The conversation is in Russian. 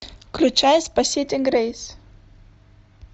включай спасите грейс